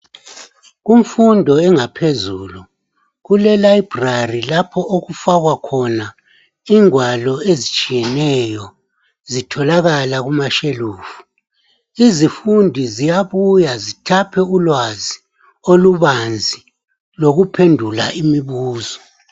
Kumfundo engaphezulu kulelibrary lapho okufakwa khona ingwalo ezitshiyeneyo, zitholakala kumashelufu. Izifundi ziyabuya zithaphe ulwazi olubanzi lokuphendula imibuzo.